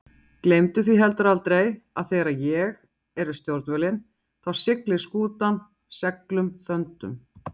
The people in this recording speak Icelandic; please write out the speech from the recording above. Gleymdu því heldur aldrei að þegar ég er við stjórnvölinn þá siglir skútan seglum þöndum.